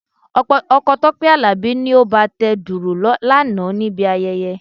Ọkọ Tọ́pẹ́ Àlàbí ni ó bá a tẹ dùrù lánàá níbi ayẹyẹ.